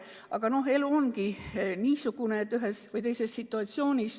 Aga elu lihtsalt on niisugune, situatsioone on erinevaid.